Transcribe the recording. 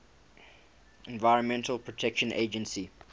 environmental protection agency